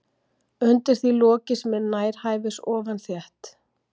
Undir því loki sem er nærhæfis ofan þétt